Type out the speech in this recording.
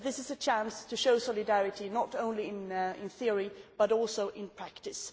But this is a chance to show solidarity not only in theory but also in practice.